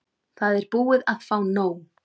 Það er búið að fá nóg.